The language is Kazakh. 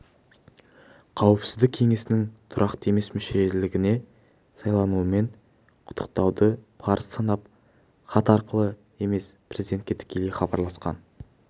қауіпсіздік кеңесінің тұрақты емес мүшелігіне сайлануымен құттықтауды парыз санап хат арқылы емес президентке тікелей хабарласқанын